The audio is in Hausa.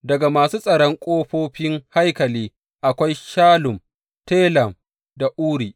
Daga masu tsaron ƙofofin haikali, akwai Shallum, Telem da Uri.